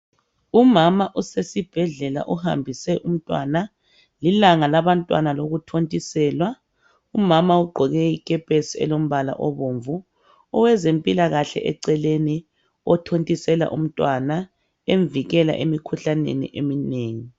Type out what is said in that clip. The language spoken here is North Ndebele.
Umama usesibhedlela uhambise umntwana. Lilanga lokuthontiselwa abantwana. Umama ugqoke ikepesi elombala obomvu, owezempilakahle eceleni othontisela umntwana emvikela emikhuhlaneni eminengi.